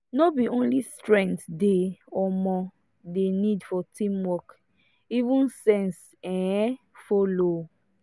no be only strength dem um dey need for teamwork even sense um follow